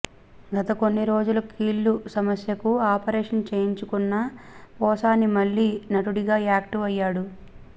గత కొన్ని రోజులు కీళ్ల సమస్యకు ఆపరేషన్ చేయించుకున్న పోసాని మళ్లీ నటుడిగా యాక్టివ్ అయ్యాడు